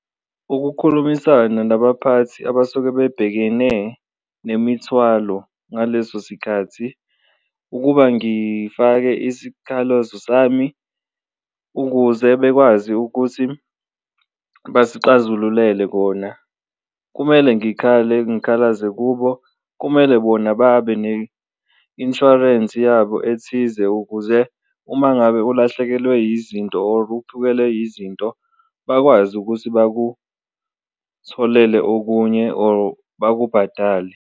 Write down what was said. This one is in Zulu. Ukukhulumisana nabaphathi abasuke bebhekene nemithwalo ngaleso sikhathi, ukuba ngifake isikhalazo sami ukuze bekwazi ukuthi basixazululele kona, kumele ngikhale angikhalazi kubo, kumele bona babe ne-insurance yabo ethize. Ukuze uma ngabe ulahlekelwe yizinto or uphukelwe yizinto bakwazi ukuthi bakutholele okunye or bakubhadale.